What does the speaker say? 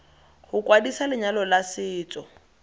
go kwadisa lenyalo la setso